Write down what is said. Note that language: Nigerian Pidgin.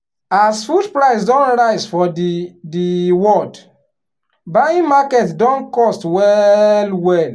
as food price don rise for the the world buying market don cost well well.